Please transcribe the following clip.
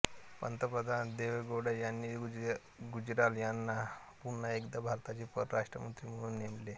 पंतप्रधान देवेगौडा यांनी गुजराल यांना पुन्हा एकदा भारताचे परराष्ट्रमंत्री म्हणून नेमले